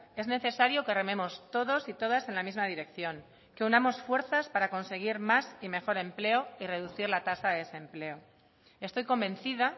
es necesario que rememos todos y todas en la misma dirección que unamos fuerzas para conseguir más y mejor empleo y reducir la tasa de desempleo estoy convencida